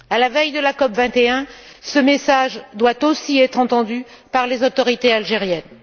À la veille de la COP21, ce message doit aussi être entendu par les autorités algériennes.